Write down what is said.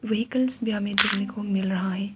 Vehicles भी हमें देखने को मिल रहा है।